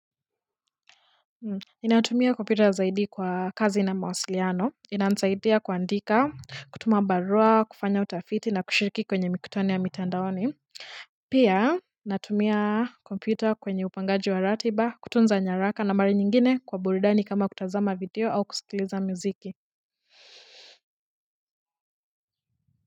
Ninatumia komputer zaidi kwa kazi na mawasiliano inanisaidia kuandika kutuma barua kufanya utafiti na kushiriki kwenye mikutano ya mitandaoni pia natumia komputer kwenye upangaji wa ratiba kutunza nyaraka na mara nyingine kwa burudani kama kutazama video au kusikiliza muziki.